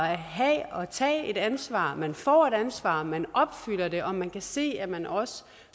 have og tage et ansvar man får et ansvar man opfylder det og man kan se at man også